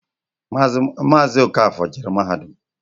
Maazi Okafor jere mahadum.